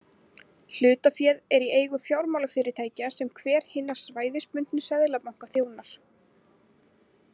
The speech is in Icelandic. Hlutaféð er í eigu fjármálafyrirtækja sem hver hinna svæðisbundnu seðlabanka þjónar.